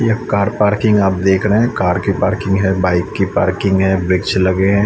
यह car parking आप देख रहे हैं कार की पार्किंग है बाइक की पार्किंग है वृक्ष लगे हैं।